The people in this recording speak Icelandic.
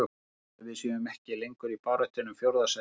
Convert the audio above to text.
Ég held að við séum ekki lengur í baráttunni um fjórða sætið.